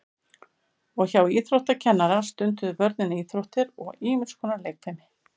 og hjá íþróttakennara stunduðu börnin íþróttir og ýmis konar leikfimi